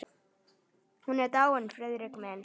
Hún er dáin, Friðrik minn.